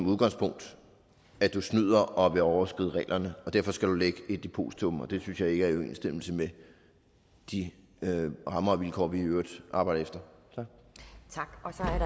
udgangspunktet at du snyder og vil overskride reglerne og derfor skal du lægge et depositum det synes jeg ikke er i overensstemmelse med de rammer og vilkår vi i øvrigt arbejder efter tak